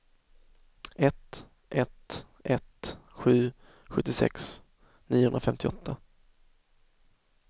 ett ett ett sju sjuttiosex niohundrafemtioåtta